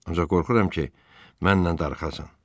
Ancaq qorxuram ki, mənlə darıxasan.